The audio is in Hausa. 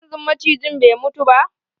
Har yanzun macijin bai mutu ba?